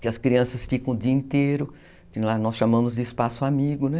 que as crianças ficam o dia inteiro, que lá nós chamamos de espaço amigo, né?